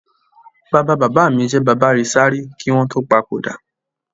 Bàbá bàbá mi jẹ bàbárìṣà rí kí wọn tó papòdà